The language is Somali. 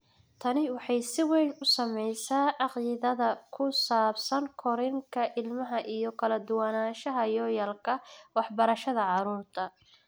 Tani waxay si weyn u saamaysaa caqiidada ku saabsan korriinka ilmaha iyo kala duwanaanshaha yoolalka waxbarashada carruurta.